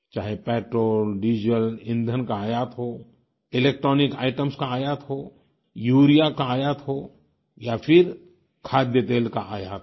चाहे petrol diesel ईंधन का आयात हो इलेक्ट्रॉनिक आइटेम्स का आयात हो यूरिया का आयात हो या फिर खाद्य तेल का आयात हो